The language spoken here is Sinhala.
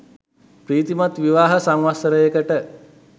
ප්‍රීතිමත් විවාහ සංවත්සරයකට